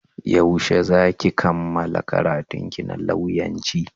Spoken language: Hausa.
Yaushe za ki kammala karantunki na lauyanci?